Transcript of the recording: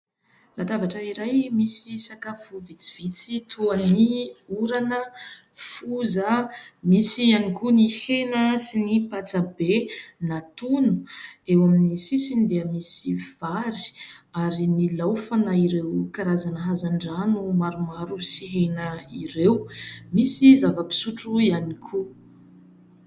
Latabatra iray misy sakafo vitsivitsy toa ny orana, foza, misy ihany koa ny hena sy ny patsa be natono. Eo amin'ny sisiny dia misy vary ary nilaofana ireo karazana hazandrano maromaro sy hena ireo, misy zava-pisotro ihany koa.